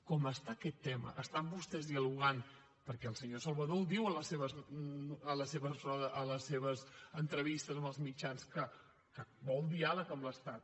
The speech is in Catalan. com està aquest tema estan vostès dialogant perquè el senyor salvador ho diu a les seves entrevistes amb els mitjans que vol diàleg amb l’estat